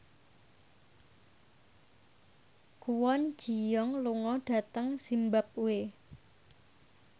Kwon Ji Yong lunga dhateng zimbabwe